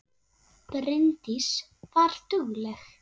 Bryndís var dugleg.